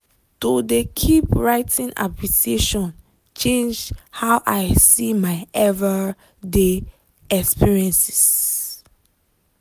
to de keep writing appreciation changed how i see my ever day experiences.